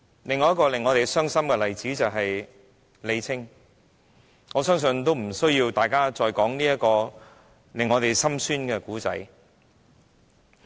另一個令我們傷心的例子是李菁，這個使人心酸的故事相信不用多說了。